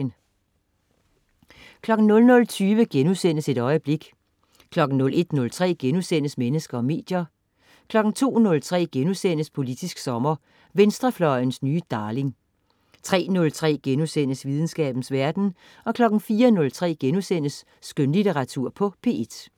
00.20 Et øjeblik* 01.03 Mennesker og medier* 02.03 Politisk sommer: Venstrefløjens nye darling* 03.03 Videnskabens verden* 04.03 Skønlitteratur på P1*